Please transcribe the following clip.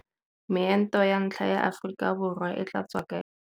Meento ya ntlha ya Aforika Borwa e tla tswa kae?